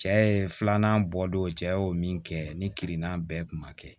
Cɛ ye filanan bɔ don cɛ y'o min kɛ ni kirina bɛɛ tun ma kɛ